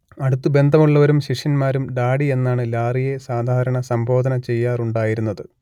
അടുത്തു ബന്ധമുള്ളവരും ശിഷ്യന്മാരും ഡാഡി എന്നാണ് ലാറിയെ സാധാരണ സംബോധന ചെയ്യാറുണ്ടായിരുന്നത്